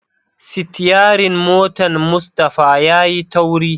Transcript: sityarin motan Mustapha yayi tauri.